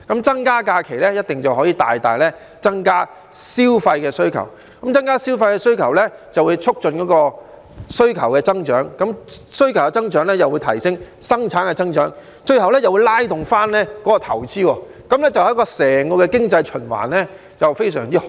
增加假期一定可以大大增加消費需求，增加消費需求就會促進需求增長，需求增長又會帶動生產增長，最後就會拉動投資，對整個經濟循環非常好。